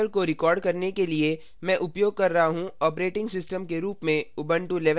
इस tutorial को record करने के लिए मैं उपयोग कर रहा हूँ operating system के रूप में ubuntu 1110